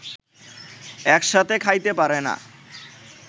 একসাথে খাইতে পারেনা